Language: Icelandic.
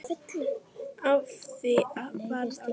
Af því varð aldrei.